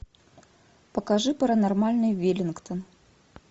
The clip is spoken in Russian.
покажи паранормальный веллингтон